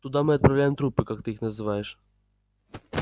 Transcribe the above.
туда мы отправляем трупы как ты их называешь